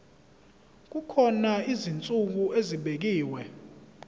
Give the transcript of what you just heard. kukhona izinsuku ezibekiwe